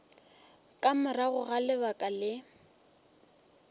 ka morago ga lebaka le